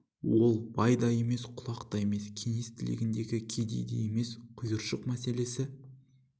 ол бай да емес құлақ та емес кеңес тілегіндегі кедей де емес құйыршық мәселесі